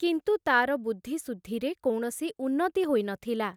କିନ୍ତୁ ତାର ବୁଦ୍ଧି ସୁଦ୍ଧିରେ କୌଣସି ଉନ୍ନତି ହୋଇ ନଥିଲା।